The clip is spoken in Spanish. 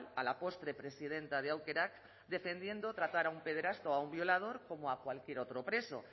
a la postre presidenta de aukerak defendiendo tratar a un pederasta o a un violador como a cualquier otro preso